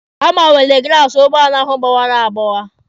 Ha gbanwere glaasi ụgbọala hụ gbọwara agbọwa.